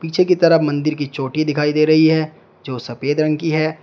पीछे की तरफ मंदिर की चोटी दिखाई दे रही है जो सफेद रंग की है।